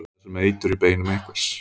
Eitthvað er sem eitur í beinum einhvers